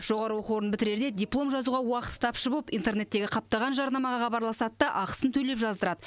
жоғары оқу орнын бітірерде диплом жазуға уақыты тапшы болып интернеттегі қаптаған жарнамаға хабарласады да ақысын төлеп жаздырады